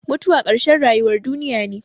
Mutuwa ƙarshen rayuwar duniya ne.